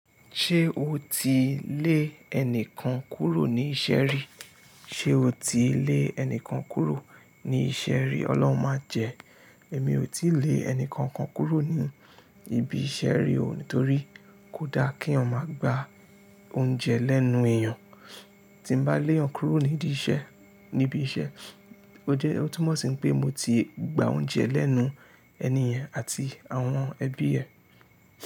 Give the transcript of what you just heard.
Ṣé o ti lé ẹnìkan kúrò ní iṣẹ́ rí? Ṣé o ti lé ẹnìkan kúrò ní iṣẹ́ rí? Ọlọ́run máa jẹ. Èmi ò tíì lé ẹnìkankan kúrò ní ibi iṣẹ́ rí o, nítorí kò da kí èèyàn máa gbà óúnjẹ lẹ́nu èèyàn. Tí n bá lé ọkùnrin níbí iṣẹ́, ó jẹ́ ó tún mọ̀ sí pé mo ti gba oúnjẹ lẹ́nu ẹni ẹ̀ àti àwọn ẹbí ẹ.